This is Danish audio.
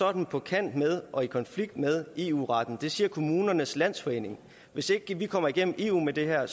er den på kant med og i konflikt med eu retten det siger kommunernes landsforening hvis ikke vi kommer igennem eu med det her